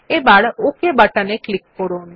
এবার okay button এ click করুন